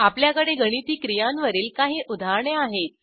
आपल्याकडे गणिती क्रियांवरील काही उदाहरणे आहेत